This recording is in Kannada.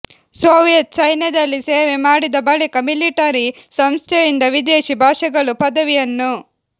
ಸೋವಿಯತ್ ಸೈನ್ಯದಲ್ಲಿ ಸೇವೆ ಮಾಡಿದ ಬಳಿಕ ಮಿಲಿಟರಿ ಸಂಸ್ಥೆಯಿಂದ ವಿದೇಶಿ ಭಾಷೆಗಳು ಪದವಿಯನ್ನು